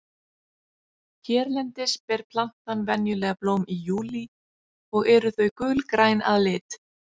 hérlendis ber plantan venjulega blóm í júlí og eru þau gulgræn að lit